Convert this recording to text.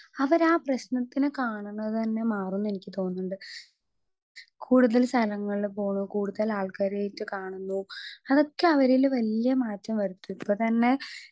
Speaker 2 അവരാ പ്രശ്നത്തിനെ കാണുന്നതന്നെ മാറുംന്നെനിക്ക് തോന്നിണ്ട് കൂടുതൽ സ്ഥലങ്ങളില് പോണു കൂട്തൽ ആൾക്കാരായിട്ട് കാണുന്നു അതൊക്കെ അവരില് വല്ല്യെ മാറ്റം വരുത്തും ഇപ്പത്തന്നെ.